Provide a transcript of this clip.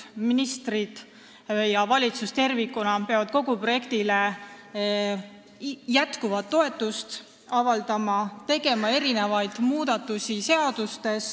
Ministrid ja valitsus tervikuna peavad kogu projektile jätkuvat toetust avaldama ja tegema seadustes muudatusi.